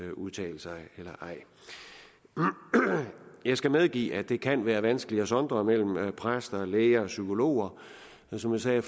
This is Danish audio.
udtale sig eller ej jeg skal medgive at det kan være vanskeligt at sondre mellem præster læger og psykologer og som jeg sagde